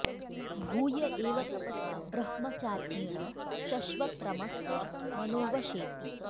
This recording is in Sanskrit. भूय एव तपसा ब्रह्मचार्येण शश्वत् रमस्व मनो वशेति